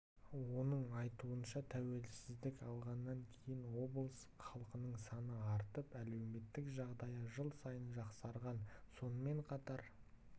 оның айтуынша тәуелсіздік алғаннан кейін облыс халқының саны артып әлеуметтік жағдайы жыл сайын жақсарған сонымен қатар